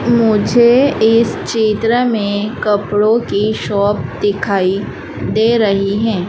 मुझे इस चित्र में कपड़ों की शॉप दिखाई दे रही है।